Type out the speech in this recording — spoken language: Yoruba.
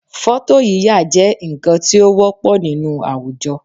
Fọ́tò yíyà jẹ́ nǹkan tí ó wọ́pọ̀ nínú àwùjọ